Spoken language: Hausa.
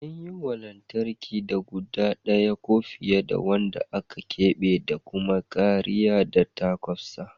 An yi waya na lantarki da guda ɗaya ko fiye waɗanda aka keɓe da kuma kariya ta kwasfa.